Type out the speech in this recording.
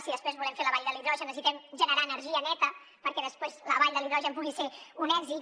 si després volem fer la vall de l’hidrogen necessitem generar energia neta perquè després la vall de l’hidrogen pugui ser un èxit